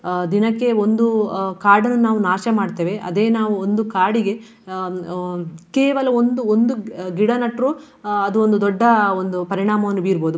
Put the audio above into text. ಅಹ್ ದಿನಕ್ಕೆ ಒಂದು ಅಹ್ ಕಾಡನ್ನು ನಾವು ನಾಶ ಮಾಡ್ತೇವೆ. ಅದೇ ನಾವು ಒಂದು ಕಾಡಿಗೆ ಅಹ್ ಹ್ಮ್ ಕೇವಲ ಒಂದು ಒಂದು ಗಿಡ ನೆಟ್ರೂ ಅಹ್ ಅದು ಒಂದು ದೊಡ್ಡ ಒಂದು ಪರಿಣಾಮವನ್ನು ಬೀರ್ಬಹುದು.